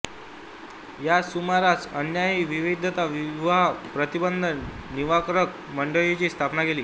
याच सुमारास अण्णांनी विधवा विवाह प्रतिबंध निवारक मंडळाची स्थापना केली